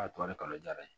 A to ale kalo jara ye